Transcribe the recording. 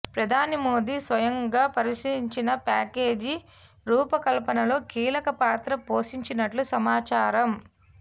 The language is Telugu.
ప్రధాని మోదీ స్వయంగా పరిశీలించిన ప్యాకేజీ రూపకల్పనలో కీలక పాత్ర పోషించినట్లు సమాచారం